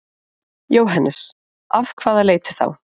Jóhannes: Af hvaða leiti þá?